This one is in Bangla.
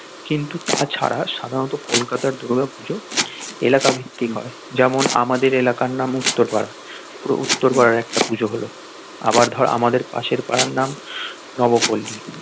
কিন্তু তা ছাড়া সাধারণত কলকাতার দূর্গা পুজো এলাকা ভিত্তিক হয় যেমন আমাদের এলাকার নাম উত্তর পাড়া পুরো উত্তর পাড়ার একটা পুজো হলো আবার ধর আমাদের পাশের পাড়ার নাম নবপল্লী.